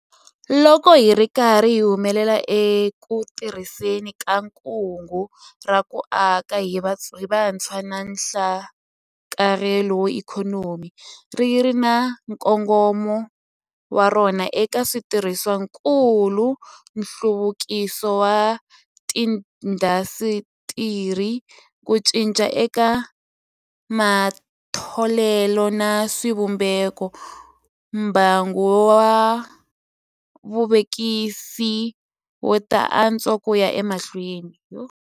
Loko hi ri karhi hi humelela eku tirhiseni ka Kungu ra ku Aka hi Vutshwa na Nhlakarhelo wa Ikhonomi - ri ri na nkongomo wa rona eka switirhisiwakulu, nhluvukiso wa tiindasitiri, ku cinca eka matholelo na swivumbeko - mbangu wa vuvekisi wu ta antswa ku ya emahlweni.